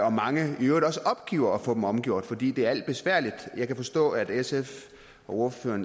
at mange i øvrigt også opgiver at få dem omgjort fordi det er besværligt jeg kan forstå at sfs ordfører